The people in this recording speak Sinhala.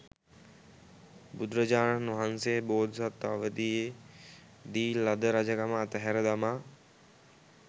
බුදුරජාණන් වහන්සේ බෝධිසත්ව අවධියේදී ලද රජකම අතහැර දමා